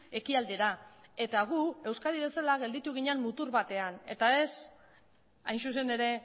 ekialdera mugitu zen eta gu euskadi bezala mutur batean gelditu ginen eta ez